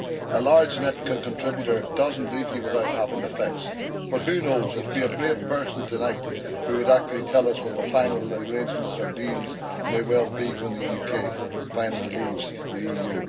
A large net contributor does not leave you without having effects, but who knows, it would be a brave person tonight who would actually tell us what the final arrangements or deals may well be when the UK finally leaves the EU.